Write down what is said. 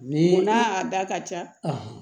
Ni n'a da ka ca